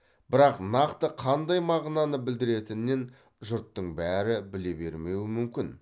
бірақ нақты қандай мағынаны білдіретінен жұрттың бәрі біле бермеуі мүмкін